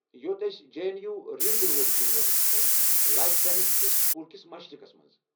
یوٚت أسۍ J N U ring روڈٕ کِنۍ وٲتَتھ ہیكو ، لایف ساینس کہِ سکوٗل کس مشرقس منٛز ۔